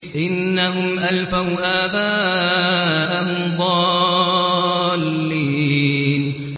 إِنَّهُمْ أَلْفَوْا آبَاءَهُمْ ضَالِّينَ